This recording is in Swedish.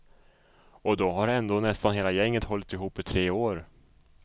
Och då har ändå nästan hela gänget hållit ihop i tre år.